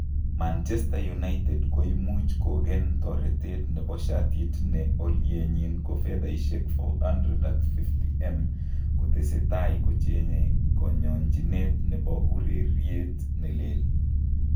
Manchester United koimuch kogen toretet nebo shatit ne olyenyin ko fedhaisiek �450m kotesetai kocheng'e koyonchinet nebo ureriet ne lel.